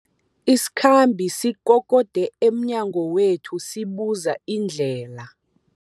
Isikhambi sikokode emnyango wethu sibuza indlela.